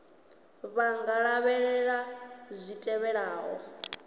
vha nga lavhelela zwi tevhelaho